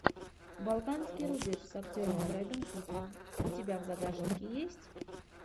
балканский рубеж с актером брэдом питтом у тебя в загашнике есть